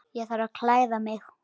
Ég þarf að klæða mig.